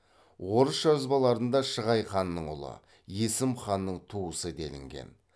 орыс жазбаларында шығай ханның ұлы есім ханның туысы делінген